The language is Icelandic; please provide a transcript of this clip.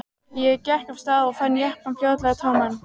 Ég gekk af stað og fann jeppann fljótlega tóman.